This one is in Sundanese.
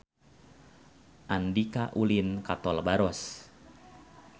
Andika ulin ka Tol Baros